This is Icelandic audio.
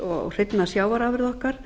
og hreinna sjávarafurða okkar